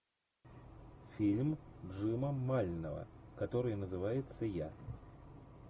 фильм джима мального который называется я